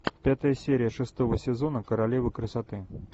пятая серия шестого сезона королева красоты